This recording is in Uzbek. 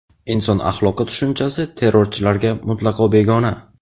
inson axloqi tushunchasi terrorchilarga mutlaqo begona.